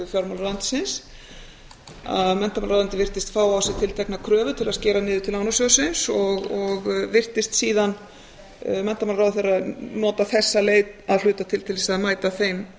menntamálaráðuneytið virtist fá á sig tiltekna kröfu til að skera niður til lánasjóðsins og virtist síðan menntamálaráðherra nota þessa leið að hluta til til þess að mæta þeim